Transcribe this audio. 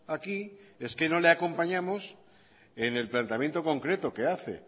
aquí es que no le acompañamos en el planteamiento concreto que hace